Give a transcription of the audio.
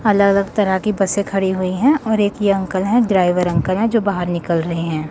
अलग अलग तरह कि बसे खड़ी हुई है और एक ये अंकल है ड्राइवर अंकल है जो बाहर निकल रहे हैं।